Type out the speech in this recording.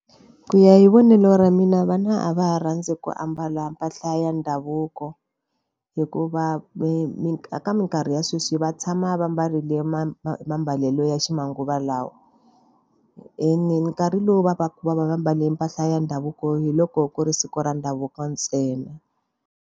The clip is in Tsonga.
Ku ya hi vonelo ra mina vana a va rhandzi ku ambala mpahla ya ndhavuko. Hikuva ka minkarhi ya sweswi va tshama va mbarile mambalelo ya ximanguva lawa. Ene nkarhi lowu va va ka va va va mbale mpahla ya ndhavuko hi loko ku ri siku ra ndhavuko ntsena.